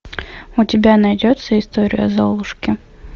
у тебя найдется история золушки